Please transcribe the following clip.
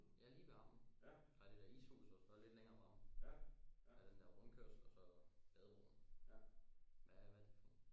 Ja lige ved havnen der er det der ishus og så lidt længere fremme der er den der rundkørsel og så badebroen hvad hvad er det for en?